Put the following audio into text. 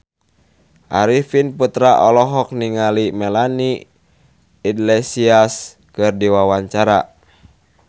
Arifin Putra olohok ningali Melanie Iglesias keur diwawancara